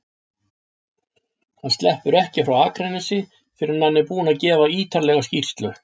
Hann sleppur ekki frá Akranesi fyrr en hann er búinn að gefa ýtarlega skýrslu.